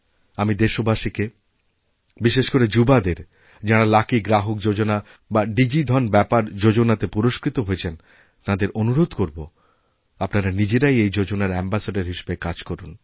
আমি দেশবাসীকে বিশেষ করেযুবাদের যাঁরা লাকি গ্রাহক যোজনা বা ডি জি ধন ব্যাপার যোজনাতে পুরস্কৃতহয়েছেন তাঁদের অনুরোধ করব আপনারা নিজেরাই এই যোজনার আম্বাসাদোর হিসেবে কাজ করুন